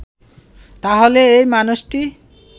তাহলে এ মানুষটি